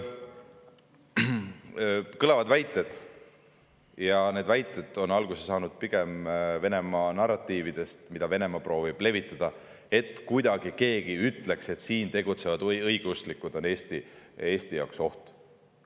Kõlavad väited – need väited on alguse saanud pigem Venemaa narratiividest, mida Venemaa proovib levitada –, nagu keegi ütleks, et siin tegutsevad õigeusklikud on Eesti jaoks oht.